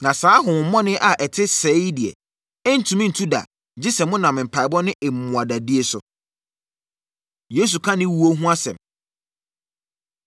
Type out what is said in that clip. Na saa honhommɔne a ɛte sɛɛ yi deɛ, ɛrentumi ntu da, gye sɛ monam mpaeɛbɔ ne mmuada die so.” Yesu Ka Ne Owuo Ho Asɛm